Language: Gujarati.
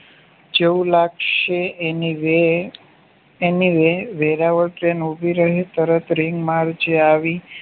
જેવું લાગશે એની વે~ એની વેરાવળ ટ્રેન ઉભી રહી તરત રિંગ મારજે આવી